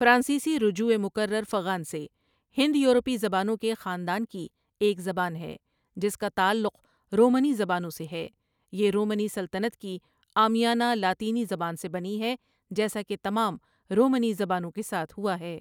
فرانسیسی رجوع مکرر فغان٘سے ہند یورپی زبانوں کے خاندان کی ایک زبان ہے جس کا تعلق رومنی زبانوں سے ہے یہ رومنی سلطنت کی عامیانہ لاطینی زبان سے بنی ہے جیسا کہ تمام رومنی زبانوں کے ساتھ ہوا ہے ۔